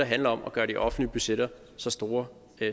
handler om at gøre de offentlige budgetter så store